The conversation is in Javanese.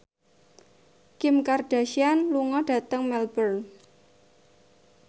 Kim Kardashian lunga dhateng Melbourne